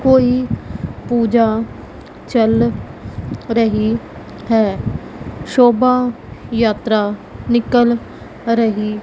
कोई पूजा चल रही है शोभा यात्रा निकाल रही।